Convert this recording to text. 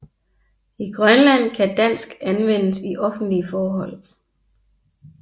I Grønland kan dansk anvendes i offentlige forhold